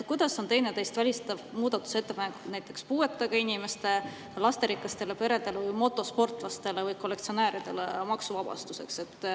Kuidas on teineteist välistavad muudatusettepanekud teha maksuvabastus puuetega inimestele või lasterikastele peredele või motosportlastele või kollektsionääridele?